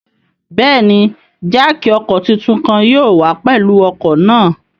Bẹẹni, jáákí ọkọ titun kan yóò wa pẹlu ọkọ naa